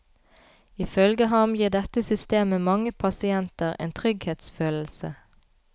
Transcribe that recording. Ifølge ham gir dette systemet mange pasienter en trygghetsfølelse.